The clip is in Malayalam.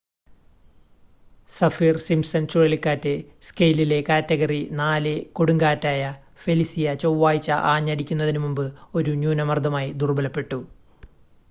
സഫിർ-സിംപ്‌സൺ ചുഴലിക്കാറ്റ് സ്കെയിലിലെ കാറ്റഗറി 4 കൊടുങ്കാറ്റായ ഫെലിസിയ ചൊവ്വാഴ്ച ആഞ്ഞടിക്കുന്നതിനുമുമ്പ് ഒരു ന്യൂനമർദ്ദമായി ദുർബലപ്പെട്ടു